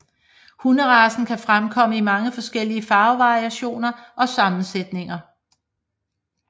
Hunderacen kan fremkomme i mange forskellige farvevariationer og sammensætninger